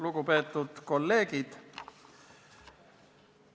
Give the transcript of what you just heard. Lugupeetud kolleegid!